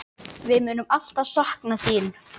Við munum alltaf sakna þín.